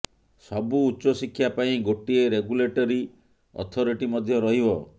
ସବୁ ଉଚ୍ଚଶିକ୍ଷା ପାଇଁ ଗୋଟିଏ ରେଗୁଲେଟୋରୀ ଅଥରିଟି ମଧ୍ୟ ରହିବ